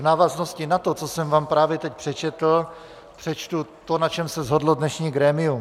V návaznosti na to, co jsem vám právě teď přečetl, přečtu to, na čem se shodlo dnešní grémium.